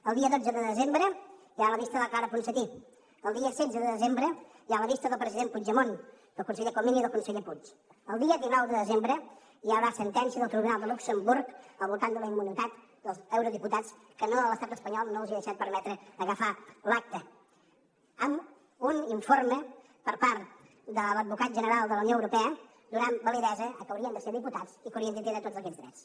el dia dotze de desembre hi ha la vista de la clara ponsatí el dia setze de desembre hi ha la vista del president puigdemont del conseller comín i del conseller puig el dia dinou de desembre hi haurà sentència del tribunal de luxemburg al voltant de la immunitat dels eurodiputats que l’estat espanyol no els ha deixat permetre agafar l’acta amb un informe per part de l’advocat general de la unió europea que dona validesa a que haurien de ser diputats i que haurien de tindre tots aquests drets